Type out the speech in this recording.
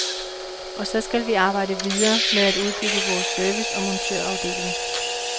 Og så skal vi arbejde videre med at udbygge vores service og montørafdeling.